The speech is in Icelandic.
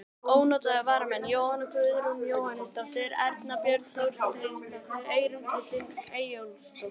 Ónotaðir varamenn: Jóhanna Guðrún Jóhannesdóttir, Erna Björk Þorsteinsdóttir, Eyrún Kristín Eyjólfsdóttir.